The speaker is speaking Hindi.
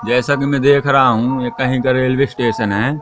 जैसे कि मैं देख रहा हूं ये कहीं का रेलवे स्टेशन है।